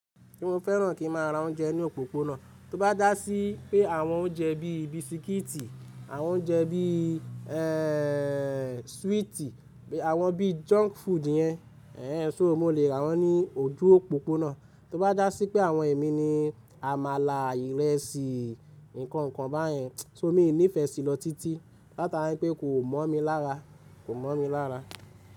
Kí mo fẹ́ràn kí má a ra oúnjẹ ní òpópónà, tó bá dá sí pé àwọn oúnjẹ bí bisikíìtì, àwọn oúnjẹ bí swíìtì, àwọn bí junk food yẹn, ṣo mo lè rà wọ́n ní ojú òpópónà. Tó bá dá sí pé àwọn ẹ̀mí ní àmàlà, ìrẹsì, nǹkan kan báyẹn, ṣo mi ní ìfẹ́ sí lọ títí, látara pé kò mọ̀ mí lára, kò mọ̀ mí lára.